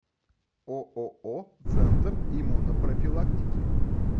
ооо центр иммунопрофилактики